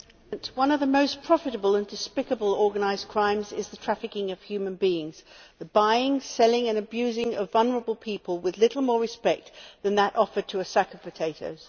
Madam President, one of the most profitable and despicable organised crimes is the trafficking of human beings the buying, selling and abusing of vulnerable people with little more respect than that offered to a sack of potatoes.